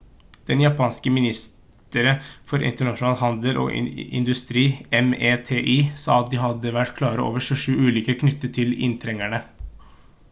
det japanske ministeriet for internasjonal handel og industri meti sa at de hadde vært klare over 27 ulykker knyttet til innretningene